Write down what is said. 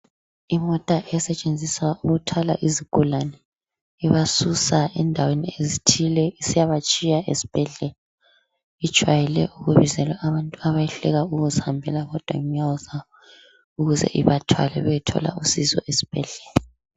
Imota esetshenziswa ukuthwala izigulani ibasusa endaweni ezithile isiya batshiya esibhedlela ijwayele ukubizelwa abantu abehluleka ukuzihambela bodwa ngenyawo zabo ukuze ibathwale beyethola usizo esibhedlela.